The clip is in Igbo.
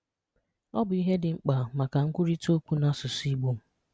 Ọ̀ bụ̀ ihè dị̀ mkpà makà nkwurịtà okwù na àsụ̀sụ̀ Ìgbò